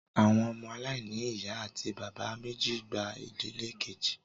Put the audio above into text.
Àwọn ọmọ aláìní ìyá àti bàbá méjì gba ìdílé kejì